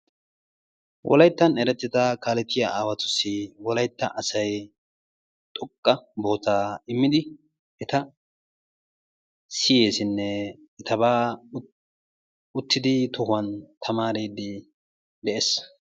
Wolayttan erettida kaaletiyaa aawatusi wolaytta asay xoqqa sohuwaa immidi eta siyeesinne etabaa uttidi tamaariidi de'ees.